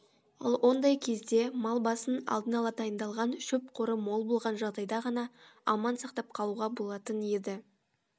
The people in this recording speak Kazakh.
ал ондай кезде мал басын алдын ала дайындалған шөп қоры мол болған жағдайда ғана аман сақтап қалуға болатын еді